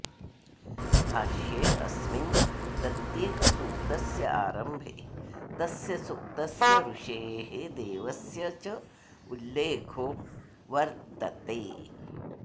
भाष्येऽस्मिन् प्रत्येकसूक्तस्य आरम्भे तस्य सूक्तस्य ऋषेः देवस्य चोल्लेखो वर्त्तते